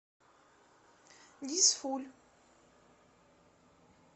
дизфуль